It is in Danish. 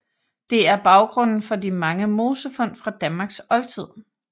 Det er baggrunden for de mange mosefund fra Danmarks oldtid